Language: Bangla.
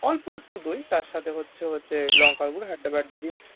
অল্প একটু দই তার সাথে হচ্ছে~হচ্ছে লঙ্কার গুড়ো হেদ্দাবেদ্দা দিয়ে,